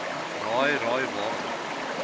raai raai waarom